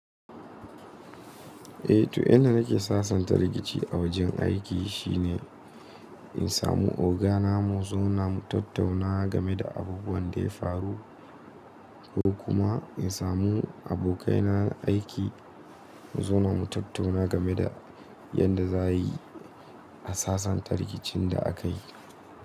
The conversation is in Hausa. Eh to inda nake sasanta rikici a wajen aiki shine in samu ogana mu zauna mu tattauna game da abubuwan da ya faru ko kuma in samu abokai na aiki mu zauna mu tattauna game da yadda za a yi a sasanta rikicin da akayi.